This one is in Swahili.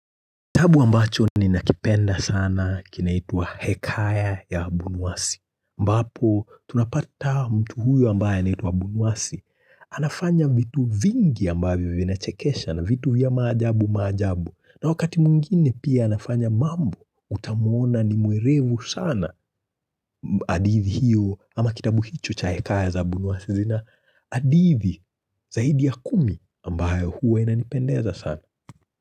Kitabu ambacho ninakipenda sana kinaitwa Hekaya ya Abunwasi. Ambapo tunapata mtu huyu ambaye anaitwa Abunwasi. Anafanya vitu vingi ambavyo vinachekesha na vitu vya maajabu maajabu. Na wakati mwingine pia anafanya mambo utamwona ni mwerevu sana. Hadithi hiyo ama kitabu hicho cha hekaya za abunwasi. Zina hadithi zaidi ya kumi ambayo huwa inanipendeza sana.